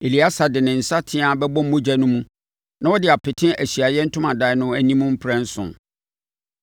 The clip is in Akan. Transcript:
Eleasa de ne nsateaa bɛbɔ mogya no mu na ɔde apete Ahyiaeɛ Ntomadan no anim mprɛnson.